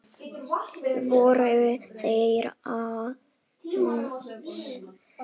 Voru þetta hans fyrstu mörk?